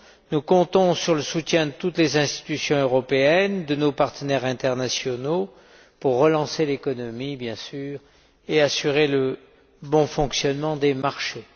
Nous comptons sur le soutien de toutes les institutions européennes et de nos partenaires internationaux pour relancer l'économie et assurer le bon fonctionnement des marchés.